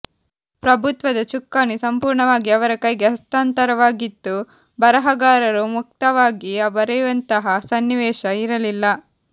ಪ್ರಭುತ್ವದ ಚುಕ್ಕಾಣಿ ಸಂಪೂರ್ಣವಾಗಿ ಅವರ ಕೈಗೆ ಹಸ್ತಾಂತರವಾಗಿತ್ತು ಬರಹಗಾರರು ಮುಕ್ತವಾಗಿ ಬರೆಯುವಂತಹ ಸನ್ನಿವೇಶ ಇರಲಿಲ್ಲ